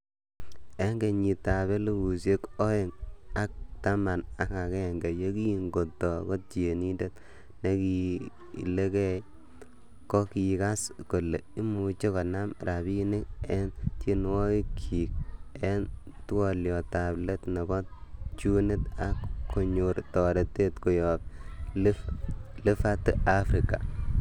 En kenyitab elfusiek Oeng ak taman ak agenge, yekin koto kotienindet nekilegei, kokigas kole imuch konam rabinik en tienwogikyik en twoliotab let nebo tunit ak kokinyor toretet koyob Liverty afrika.